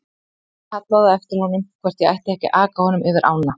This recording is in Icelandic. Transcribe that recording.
Ég kallaði á eftir honum hvort ég ætti ekki að aka honum yfir ána.